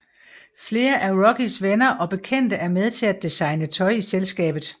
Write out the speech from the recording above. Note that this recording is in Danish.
Flere af Rockys venner og bekendte er med til at designe tøj i selskabet